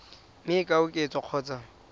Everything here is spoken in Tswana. mme e ka oketswa kgotsa